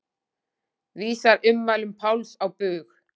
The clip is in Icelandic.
Vísar ummælum Páls á bug